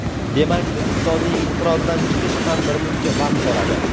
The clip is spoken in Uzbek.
Demak, iqtisodiy inqirozdan chiqish ham birmuncha vaqt oladi.